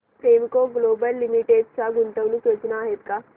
Premco global limited च्या गुंतवणूक योजना आहेत का